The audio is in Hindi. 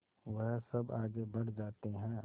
वह सब आगे बढ़ जाते हैं